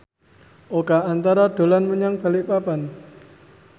Oka Antara dolan menyang Balikpapan